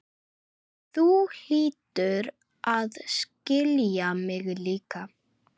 Þú hlýtur að skilja mig líka.